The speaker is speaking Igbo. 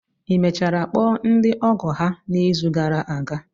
Ị mechara kpọọ ndị ọgọ ha n'izu gara aga?